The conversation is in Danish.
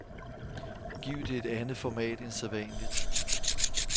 Giv det et andet format end sædvanligt.